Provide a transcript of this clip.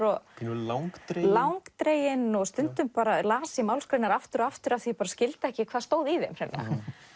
i pínu langdreginn langdreginn og stundum las ég málsgreinar aftur og aftur því ég skildi ekki hvað stóð í þeim hreinlega